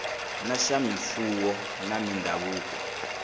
na swa mimfuwo na mindhavuko